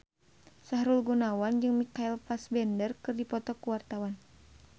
Sahrul Gunawan jeung Michael Fassbender keur dipoto ku wartawan